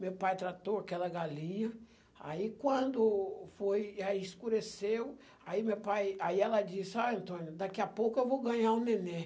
Meu pai tratou aquela galinha, aí quando foi, aí escureceu, aí meu pai, aí ela disse, ah, Antônio, daqui a pouco eu vou ganhar um nenem.